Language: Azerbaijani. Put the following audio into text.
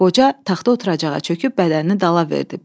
Qoca taxta oturacağa çöküb bədənini dala verdi.